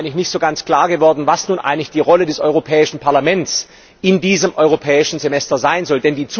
Es ist mir eigentlich nicht ganz klar geworden, was nun eigentlich die Rolle des Europäischen Parlaments in diesem Europäischen Semester sein soll.